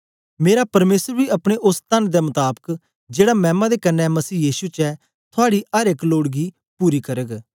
मेरा परमेसर बी अपने ओस तन दे मताबक जेड़ा मैमा दे कन्ने मसीह यीशु च ऐ थूआडी अर एक लोड गी पूरी करग